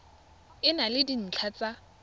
e na le dintlha tsa